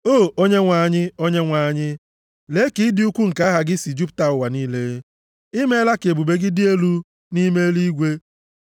O Onyenwe anyị Onyenwe anyị, lee ka ịdị ukwuu nke aha gị si jupụta ụwa niile! I meela ka ebube gị dị elu nʼime eluigwe.